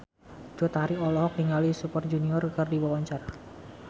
Cut Tari olohok ningali Super Junior keur diwawancara